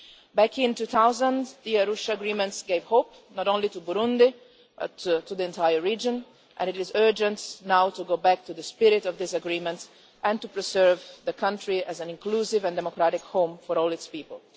Back in 2000, the Arusha agreement gave hope not only to Burundi but also to the entire region, and it is urgent now to go back to the spirit of that agreement and to preserve the country as an inclusive and democratic home for all its people.